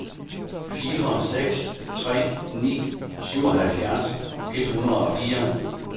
fire seks tre ni syvoghalvfjerds et hundrede og fire